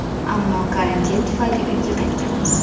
Ammo karantin tufayli uyga qaytganmiz.